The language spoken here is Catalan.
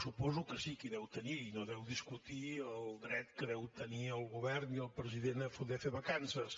suposo que sí que en deu tenir i no deu discutir el dret que deu tenir el govern i el president a poder fer vacances